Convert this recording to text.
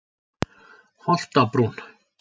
Holtabrún